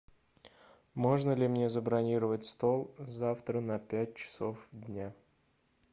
можно ли мне забронировать стол завтра на пять часов дня